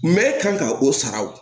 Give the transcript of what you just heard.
Mɛ kan ka o sara o